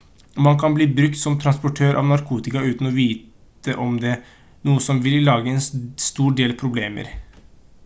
man kan bli brukt som transportør av narkotika uten å vite om det noe som vil lage en stor del problemer